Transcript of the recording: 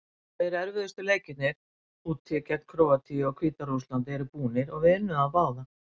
Tveir erfiðustu leikirnir, úti gegn Króatíu og Hvíta-Rússlandi eru búnir og við unnum þá báða.